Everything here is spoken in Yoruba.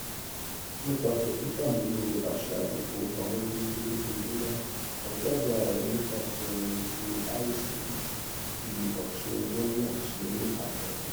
nípasẹ ṣíṣàmúlò àṣà ìfowópamọ déédé lójoojúmọ ọjọ ọla rẹ nípasẹ ti àrísìkí di ọtun lọna tí ó ní àpẹẹrẹ